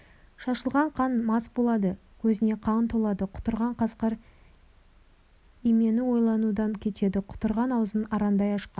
шашылған қанға мас болады көзіне қан толады құтырған қасқыр имену ойланудан кетеді құтырған аузын арандай ашқан